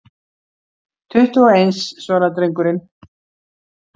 Tuttugu og eins, svaraði drengurinn.